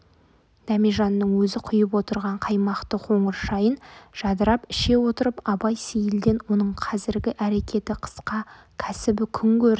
дәмежанның өзі құйып отырған қаймақты қоңыр шайын жадырап іше отырып абай сейілден оның қазіргі әрекеті қысқы кәсібі күнкөрісі